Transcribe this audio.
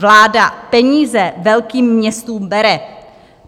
Vláda peníze velkým městům bere.